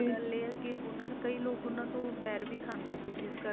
ਪਰ ਗੱਲ ਇਹ ਹੈ ਕਿ ਉਨ੍ਹਾਂ ਨੇ ਕਈ ਲੋਗ ਉਨ੍ਹਾਂ ਤੋਂ ਵੈਰ ਵੀ ਖਾਂਦੇ ਸੀ ਜਿਸ ਕਰਕੇ ਉਨ੍ਹਾਂ ਦੀ